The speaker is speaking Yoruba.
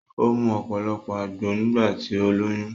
O mu ọ̀pọ̀lọpọ̀ àgbo nígbà tí ó lóyún